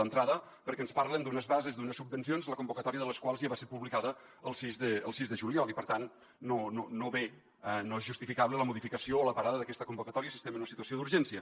d’entrada perquè ens parlen d’unes bases d’unes subvencions la convocatòria de les quals ja va ser publicada el sis de juliol i per tant no és justificable la modificació o la parada d’aquesta convocatòria si estem en una situació d’urgència